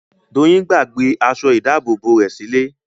Doyin gbàgbé aṣọ ìdábòbò rẹ̀ sí ilé